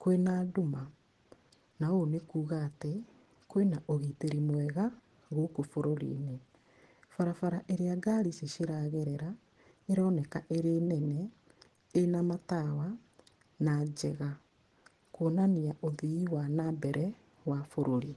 kwĩ na nduma, na ũũ nĩ kuuga atĩ kwĩna ũgitĩri mwega gũkũ bũrũri-inĩ. Barabara ĩrĩa ngari ici ciragerera ĩroneka ĩrĩ nene, ĩna matawa na njega, kuonania ũthii wa nambere wa bũrũri.